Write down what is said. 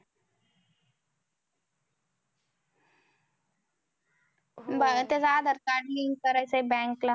मला तेच adharcardlink करायचं आहे. bank ला